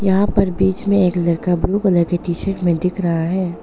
यहां पर बीच में एक लड़का ब्लू कलर की टी शर्ट में दिख रहा है।